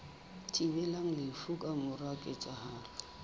thibelang lefu ka mora ketsahalo